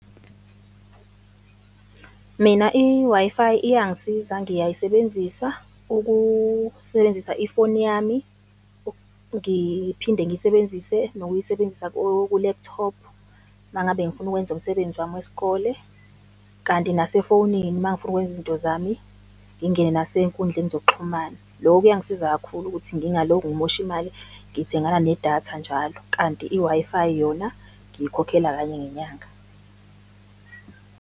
Mina i-Wi-Fi iyangisiza, ngiyayisebenzisa ukusebenzisa ifoni yami, ngiphinde ngiyisebenzise nokuyisebenzisa kwi-laptop, uma ngabe ngifuna ukwenza umsebenzi wami wesikole, kanti nasefonini mangifuna ukwenza izinto zami, ngingene nasey'nkundleni zokuxhumana. Loko kuyangisiza kakhulu ukuthi ngingaloku ngimosha imali ngithengana nedatha njalo. Kanti i-Wi-Fi yona ngiyikhokhela kanye ngenyanga.